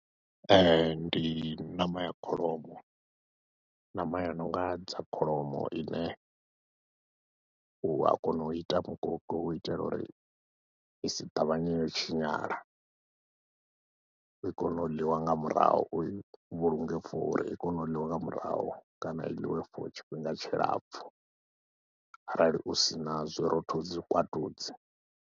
Ee, ndi ṋama ya kholomo, ṋama ya nonga dza kholomo ine u a kona u ita mukoki u itela uri i si ṱavhanye yo tshinyala i kone u ḽiwa nga murahu, u i vhulunge for uri i kone u ḽiwa nga murahu, kana i ḽiwe for tshifhinga tshilapfhu arali u sina zwirothodzi zwikwatudzi.